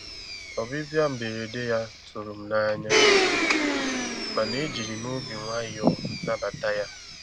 Ọ́bị̀bị̀à mberede yá tụ̀rụ̀ m n'anya, um màna ejìrì m obi nwayọ́ọ̀ nàbàtà yá.